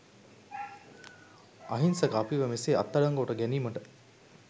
අහිංසක අපිව මෙසේ අත්අඩංගුවට ගැනීමට